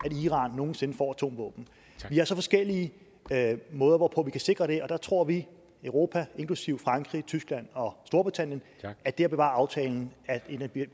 at iran nogen sinde får atomvåben vi har så forskellige måder hvorpå vi kan sikre det og der tror vi i europa inklusive frankrig tyskland og storbritannien at det at bevare aftalen er et af